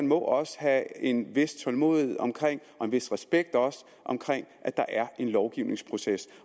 må også have en vis tålmodighed og en vis respekt for at der er en lovgivningsproces